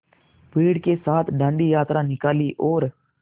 भीड़ के साथ डांडी यात्रा निकाली और